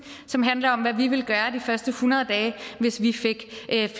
som handler om hvad vi vil gøre de første hundrede dage hvis vi fik